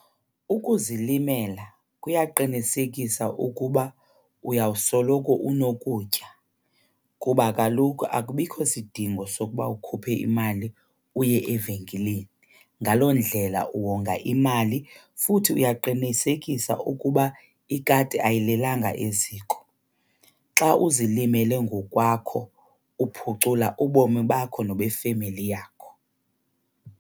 Ukuzilimela kuyaqinisekisa ukuba uyawusoloko unokutya kuba kaloku akubikho sidingo sokuba ukhuphe imali uye evenkileni. Ngaloo ndlela uwonga imali futhi uyaqinisekisa ukuba ikati ayilelanga eziko. Xa uzilimele ngokwakho uphucula ubomi bakho nobefemeli yakho.